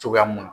Cogoya mun na